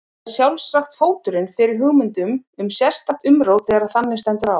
Það er sjálfsagt fóturinn fyrir hugmyndum um sérstakt umrót þegar þannig stendur á.